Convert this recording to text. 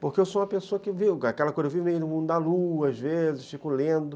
Porque eu sou uma pessoa que vive no mundo da lua, às vezes, fico lendo.